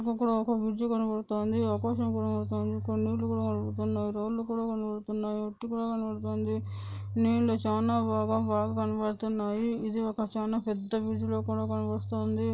మనకు ఒక బ్రిడ్జి కనపడుతోంది ఆకాశం కనపడుతోంది నీళ్లు కూడా కనబడుతున్నాయి రాళ్ళూ కూడా కనబడుతున్నాయి మట్టి కూడా కనపడుతుంది నీళ్లు చాలా భాగం బాగా కనిపిస్తున్నాయి ఇది చాలా ఒక పెద్ద బ్రిడ్జి లాగా యితే మనకు కనిపిస్తాఉంది